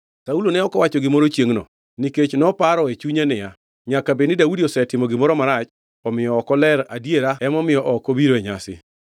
Saulo ne ok owacho gimoro chiengʼno, nikech noparo e chunye niya, “Nyaka bed ni Daudi osetimo gimoro marach, omiyo ok oler adiera emomiyo ok obiro e nyasi.”